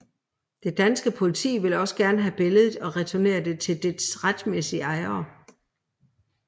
Det danske politi vil også gerne have billedet og returnere det til dets retmæssige ejere